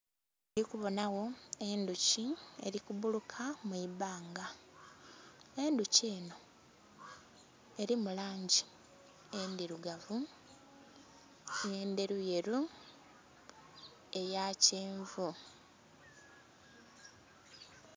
Indhikubonagho endhuki erikubbuluka mwibbanga, endhuki eno erimu langi edhirugavu n'endheru yeru, eyakyenvu .